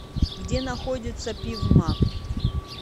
где находится пивмаг